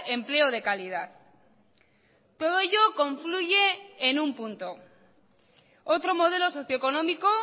empleo de calidad todo ello confluye en un punto otro modelo socioeconómico